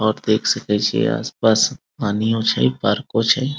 और देख सके छीये आस-पास पानियों छै पार्को छै।